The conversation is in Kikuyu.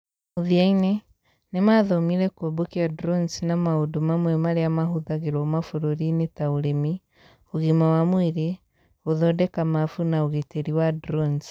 mũthia-inĩ, nĩ mathomire kũmbũkia drones na maũndũ mamwe marĩa mahũthagĩrũo mabũrũri-inĩ ta Ũrĩmi, ũgima wa mwĩrĩ, gũthondeka mapu, na ũgitĩri wa drones.